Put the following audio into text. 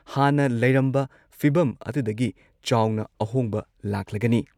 ꯍꯥꯟꯅ ꯂꯩꯔꯝꯕ ꯐꯤꯚꯝ ꯑꯗꯨꯗꯒꯤ ꯆꯥꯎꯅ ꯑꯍꯣꯡꯕ ꯂꯥꯛꯂꯒꯅꯤ꯫